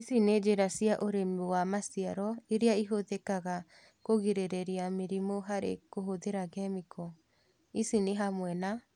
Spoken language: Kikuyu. Ici nĩ njĩra cia ũrĩmi wa maciaro ĩrĩa ĩhũthĩkaga kũgirĩrĩria mĩrimũ harĩ kũhũthĩra kĩmĩko. Ici nĩhamwe na